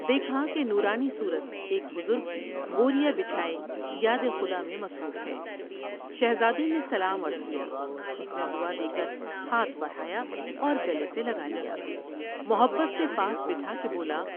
دیکھا کہ نورانی صورت ایک بزرگ بور یا بچاۓ یادخدا میں مصروف ہے ۔شہزادے نے سلام عرض کیا۔ اس نے دعا دے کر ہاتھ بڑھایا اور گلے سے لگالیا۔ محبت سے پاس بٹھا کے بولا ۔